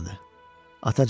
Atacan.